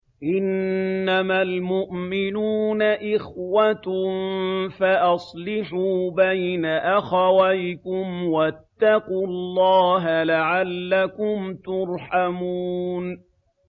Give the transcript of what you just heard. إِنَّمَا الْمُؤْمِنُونَ إِخْوَةٌ فَأَصْلِحُوا بَيْنَ أَخَوَيْكُمْ ۚ وَاتَّقُوا اللَّهَ لَعَلَّكُمْ تُرْحَمُونَ